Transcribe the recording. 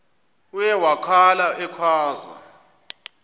uye wakhala ekhwaza